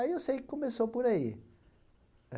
Aí eu sei que começou por aí.